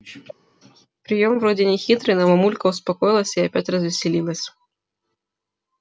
приём вроде нехитрый но мамулька успокоилась и опять развеселилась